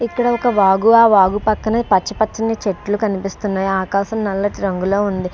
ఇక్కడ ఒక వాగు. ఆ వాగు పక్కన పచ్చ పచ్చని చెట్లు కనిపిస్తున్నాయి. ఆకాశం నల్లటి రంగులో ఉంది.